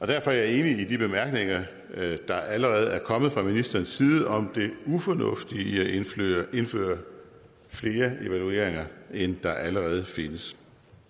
derfor er jeg enig i de bemærkninger der allerede er kommet fra ministerens side om det ufornuftige i at indføre flere evalueringer end der allerede findes